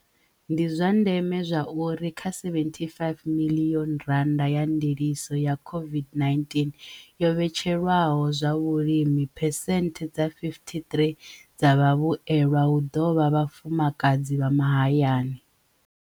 Ndi zwa ndeme zwauri kha R75 miḽioni ya ndiliso ya COVID-19 yo vhetshelwaho zwa vhulimi phesenthe dza 53 dza vhavhuelwa hu ḓo vha vhafumakadzi vha mahayani.